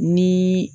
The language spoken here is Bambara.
Ni